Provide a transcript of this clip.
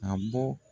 A bɔ